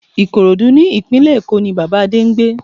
Ìkòròdú ní ìpínlẹ̀ Èkó ní Bàbá Adé ń gbé